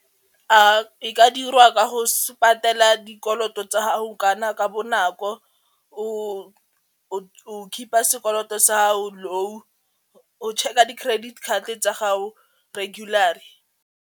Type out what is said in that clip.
E ka dirwa ka go patela dikoloto tsa gago kana ka bonako o keep-a sekoloto sa gago low, o check a di-credit card tsa gago .